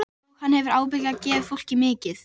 Og hann hefur ábyggilega gefið fólki mikið.